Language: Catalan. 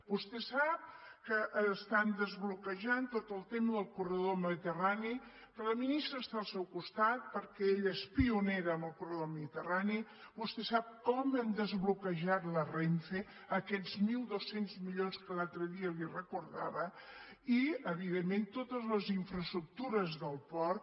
vostè sap que estan desbloquejant tot el tema del corredor mediterrani que la ministra està al seu costat perquè ella és pionera en el corredor mediterrani vostè sap com hem desbloquejat la renfe aquests mil dos cents milions que l’altre dia li recordava i evidentment totes les infraestructures del port